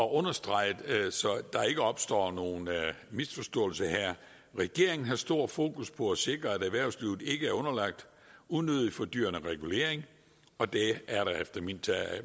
at understrege så der ikke opstår nogen misforståelser her at regeringen har stort fokus på at sikre at erhvervslivet ikke er underlagt unødigt fordyrende regulering og det er der efter min